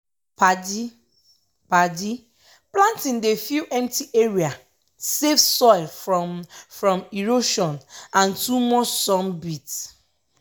padi-padi planting dey fill empty area save soil from from erosion and too much sun beat.